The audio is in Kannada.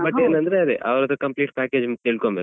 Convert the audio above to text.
But ಏನಂದ್ರೆ ಅದೇ ಅವ್ರ್ complete package ಅಂತ ತಿಳ್ಕೊಳ್ಬೇಕು.